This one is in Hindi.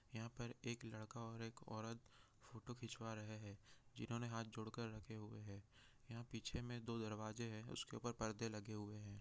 यहाँ पर एक लड़का और एक औरत जो फोटो खिंचवा रहे है जिन्हों ने हाथ जोड़ कर रखे हुए है यहाँ पीछे में दो दरवाजे है उसके ऊपर परदे लगे हुए हैं।